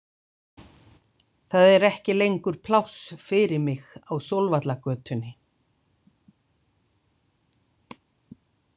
Það er ekki lengur pláss fyrir mig á Sólvallagötunni.